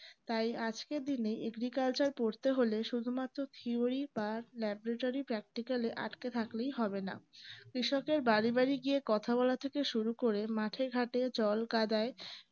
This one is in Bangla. তাই আজকের দিনে agriculture পরতে হলে শুধুমাত্র theory বা laboratorypractical এ আতকে থাকলেই হবে না কৃষকের বাড়ি বাড়ি গিয়ে কথা বলা থেকে শুরু করে মাঠে ঘাটে জল কাদায়